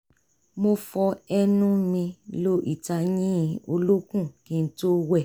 mo fọ ẹnu mi lo ìtayín olókùn kí n tó wẹ̀